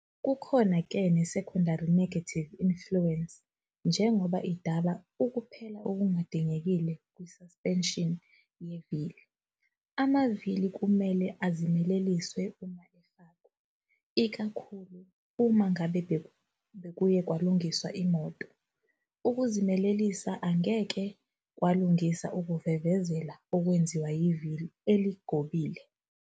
Kukhona-ke nesecondary negative influence njengoba idala ukuphela okungadingekile kususpension yevili. Amavili kumele azimeleliswe uma efakwa, ikakhulu uma ngabe bekuye kwalungiswa imoto. Ukuzimelelisa angeke kwalungisa ukuvevezela okwenziwa yivili eligobekile.